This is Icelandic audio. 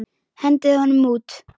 Hendið honum út!